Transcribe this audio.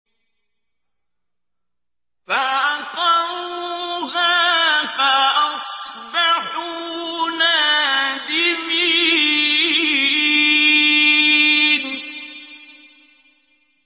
فَعَقَرُوهَا فَأَصْبَحُوا نَادِمِينَ